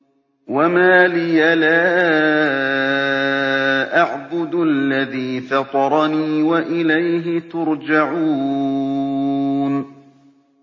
وَمَا لِيَ لَا أَعْبُدُ الَّذِي فَطَرَنِي وَإِلَيْهِ تُرْجَعُونَ